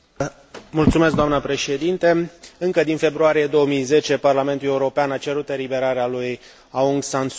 Încă din februarie 2010, Parlamentul European a cerut eliberarea lui Aung San Suu Kyi, care a trăit în arest din